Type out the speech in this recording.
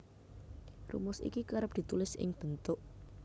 Rumus iki kerep ditulis ing bentuk